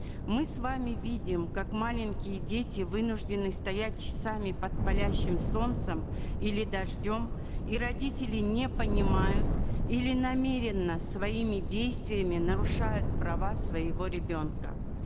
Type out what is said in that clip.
мы с вами видим как маленькие дети вынуждены стоять часами под палящим солнцем или дождем и родители не понимают или намеренно своими действиями нарушают права своего ребенка